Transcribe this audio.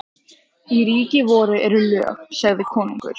Í ríki voru eru lög, sagði konungur.